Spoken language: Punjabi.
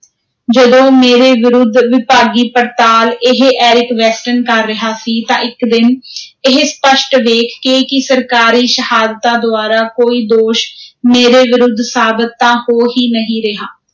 ਜਦੋਂ ਮੇਰੇ ਵਿਰੁੱਧ ਵਿਭਾਗੀ ਪੜਤਾਲ ਇਹ ਐਰਿਕ ਵੈਸਟਨ ਕਰ ਰਿਹਾ ਸੀ ਤਾਂ ਇਕ ਦਿਨ ਇਹ ਸਪੱਸ਼ਟ ਵੇਖ ਕੇ ਕਿ ਸਰਕਾਰੀ ਸ਼ਹਾਦਤਾਂ ਦੁਆਰਾ ਕੋਈ ਦੋਸ਼ ਮੇਰੇ ਵਿਰੁੱਧ ਸਾਬਤ ਤਾਂ ਹੋ ਹੀ ਨਹੀਂ ਰਿਹਾ,